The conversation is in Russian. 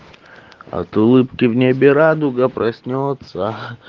от улыбки в небе радуга проснётся